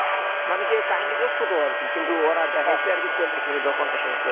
মানে কাহিনীটা ছোট আর কি কিন্তু ওরা দেখায় চল্লিশ মিনিট বা পঞ্চাশ মিনিট করে,